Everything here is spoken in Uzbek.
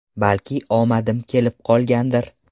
Balki omadim kelib qolgandir.